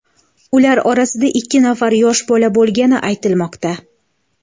Ular orasida ikki nafar yosh bola bo‘lgani aytilmoqda.